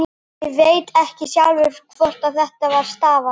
Ég veit ekki sjálfur af hverju þetta stafar.